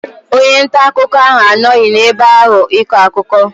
Onye nta akụkọ ahụ anọghị n'ebe ahụ ịkọ akụkọ.